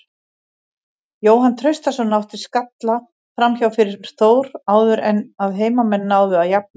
Jóhann Traustason átti skalla framhjá fyrir Þór áður en að heimamenn náðu að jafna.